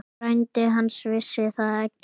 Frændi hans vissi það ekki.